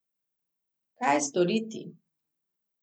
Kaj storiti?